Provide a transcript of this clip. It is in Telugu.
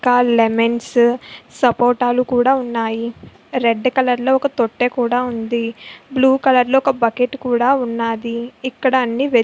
కాల్ లెమన్సు సపోటాలు కూడా ఉన్నాయి. రెడ్ కలర్ లో ఒక తొట్టె కూడా ఉంది. బ్లూ కలర్ లో ఒక బకెట్ కూడా ఉన్నది. ఇక్కడ అన్ని --